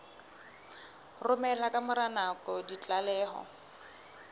romela ka mora nako ditlaleho